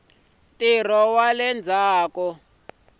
ntirho wa le ndzhaku ka